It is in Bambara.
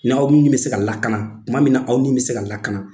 N'aw ni bɛ se ka lakana tuma min na aw ni bɛ se ka lakana.